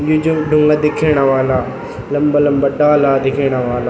ये जो ढुंगा दिखेणा वाला लंबा लंबा डाला दिखेणा वाला।